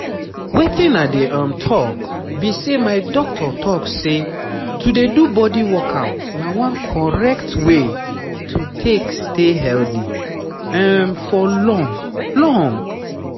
wetin i dey um talk be say my doctor talk say to dey do body workout na one correct way to take stay healthy for long. long.